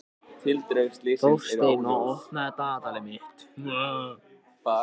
Þórsteina, opnaðu dagatalið mitt.